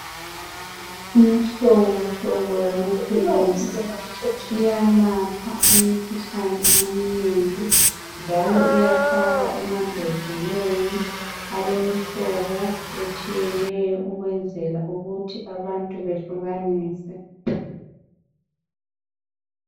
Imhlobo hlobo yamaphilisi iyelapha imikhuhlane eminengi njalo iyafakwa emambodleleni alemihlobo etshiyeneyo ukwenzela ukuthi abantu behlukanise.